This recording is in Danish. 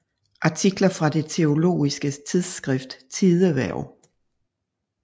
Artikler fra det teologiske tidsskrift Tidehverv